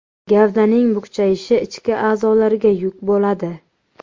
Gavdaning bukchayishi, ichki a’zolarga yuk bo‘ladi.